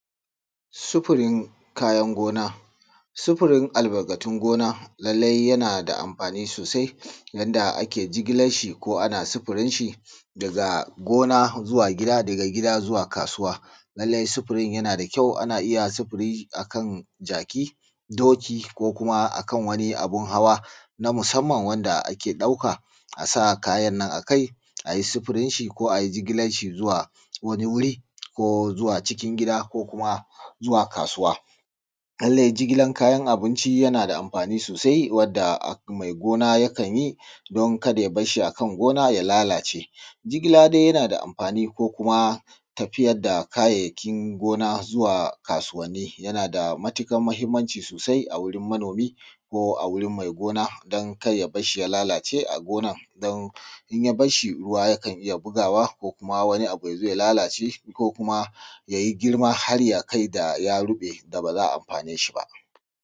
Sifirin kayan gona. Sifirin kayan albarkatun gona lallai yana da amfani sosai yanda ake jigilar shi ko ana sifirin shi daga gona zuwa ko daga gida zuwa kasuwa. Lallai sifirin yana da ƙyau ko ana iya sifiri a kan jaki ko doki ko kuma a kan wani abun hawa da ake ɗauka a sa kayan a kai ai sifirin shi ko ai jigilar shi zuwa wani wuri ko zuwa cikin gida ko kuma zuwa kasuwa. Lallai jigilar kayan abunci yana da amfani sosai wanda mai gona yakan yi don ka da ya bar shi kan gona ya lalace. Jigilar dai yana da amfani ko kuma tafiyar da kayayyakin gona wa kasuwanni yana da matuƙar amfani ko mahimmanci sosai a wurin manomi ko a wurin mai gona don kar ya bar shi ya lalace a gonar don in yabar shi ruwa yakan iya bugawa ko kuma wani abu ya zo ya lalace ko kuma ya yi girma ya kai ga ya ruɓe da ba za a amfanu da shi ba.